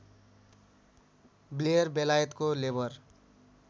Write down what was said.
Blair बेलायतको labour